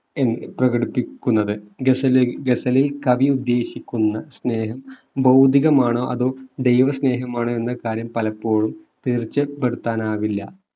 പ്രകടിപ്പിക്കുന്നത് ഗസല് ഗസലിൽ കവി ഉദ്ദേശിക്കുന്ന സ്നേഹം ഭൗതികമാണോ അതോ ദൈവസ്നേഹമാണോ എന്ന കാര്യം പലപ്പോളും തീർച്ചപ്പെടുത്താനാവില്ല